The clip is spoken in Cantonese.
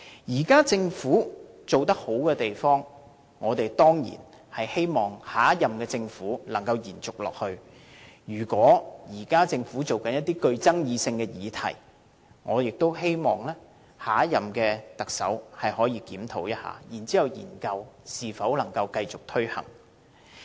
現屆政府做得好的地方，我們當然希望下任政府能夠延續下去；如果現屆政府正在研究爭議性議題，我也希望下一任特首可以檢討一下，再研究能否繼續推行。